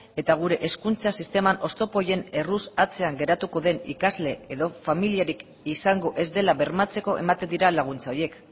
eta gure hezkuntza sisteman oztopo horien erruz atzean geratuko den ikasle edo familiarik izango ez dela bermatzeko ematen dira laguntza horiek